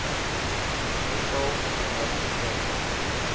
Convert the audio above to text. persal nommer verskyn